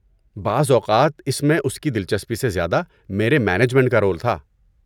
بعض اوقات اس میں اس کی دلچسپی سے زیادہ میرے مینجمنٹ کا رول تھا۔